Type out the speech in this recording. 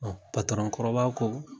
Ɔ kɔrɔba ko